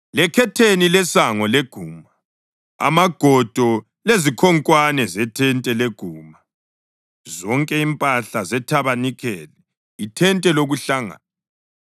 lekhetheni lesango leguma; amagoda lezikhonkwane zethente leguma; zonke impahla zethabanikeli, ithente lokuhlangana;